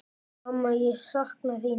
Mamma ég sakna þín.